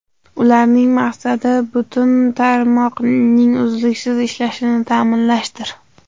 Ularning maqsadi: butun tarmoqning uzluksiz ishlashini ta’minlashdir.